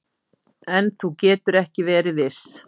En þú getur ekki verið viss